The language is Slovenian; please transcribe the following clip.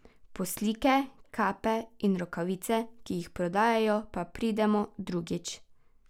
Po slike, kape in rokavice, ki jih prodajajo, pa pridemo drugič.